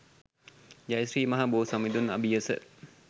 ජය ශ්‍රී මහා බෝ සමිඳුන් අභියස